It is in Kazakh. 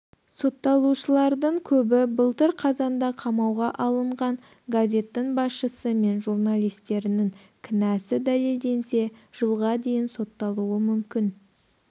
сотталушылардың көбі былтыр қазанда қамауға алынған газеттің басшысы мен журналистерінің кінәсі дәлелденсе жылға дейін сотталуы мүмкін